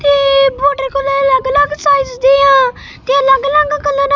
ਇਹ water cooler ਅਲੱਗ ਅਲੱਗ ਸਾਈਜ਼ ਦੀਆਂ ਤੇ ਅਲੱਗ ਅਲੱਗ ਕਲਰ --